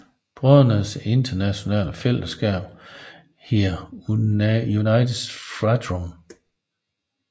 Brødrenes internationale fællesskab hedder Unitas Fratrum